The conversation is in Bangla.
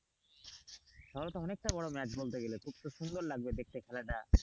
তাহলে তো অনেকটা বড় ম্যাচ বলতে গেলে খুব তো সুন্দর লাগবে দেখতে খেলাটা।